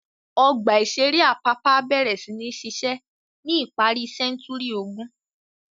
Ọgbà-ìṣeré Apapa bẹ̀rẹ̀ sí ní ṣiṣẹ́ ní ìparí sẹ́ńtúrì ogún.